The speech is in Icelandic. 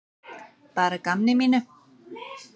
Bara að gamni mínu.